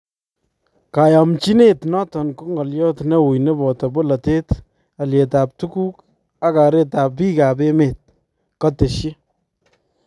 Kayaamnchinet noton ko ngolyot newuy nepotoo bolatet , alyeetab tukuk ak kereetab biikab emeet ",katesyi